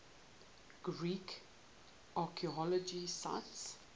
greek archaeological sites